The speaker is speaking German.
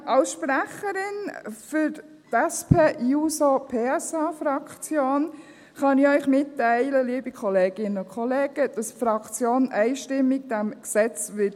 Als Sprecherin der SP-JUSO-PSA-Fraktion kann ich Ihnen mitteilen, liebe Kolleginnen und Kollegen, dass die Fraktion diesem Gesetz einstimmig zustimmen wird.